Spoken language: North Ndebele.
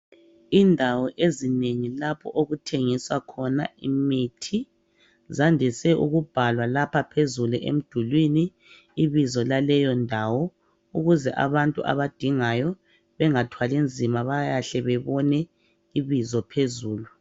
Indawo ezinengi lapho okuthengiswa khona imithi zandise ukubhalwa lapha phezulu emdulini ibizo laleyondawo ukuze abantu abadingayo bengathwali nzima bayahle bebone ibizo phezulu.